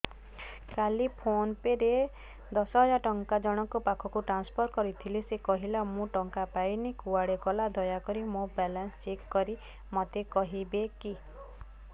କାଲି ଫୋନ୍ ପେ ରେ ଦଶ ହଜାର ଟଙ୍କା ଜଣକ ପାଖକୁ ଟ୍ରାନ୍ସଫର୍ କରିଥିଲି ସେ କହିଲା ମୁଁ ଟଙ୍କା ପାଇନି କୁଆଡେ ଗଲା ଦୟାକରି ମୋର ବାଲାନ୍ସ ଚେକ୍ କରି ମୋତେ କହିବେ କି